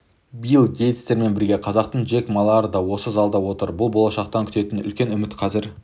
билл гейтстермен бірге қазақтың джек малары да осы залда отыр бұл болашақтан күтетін үлкен үміт қазір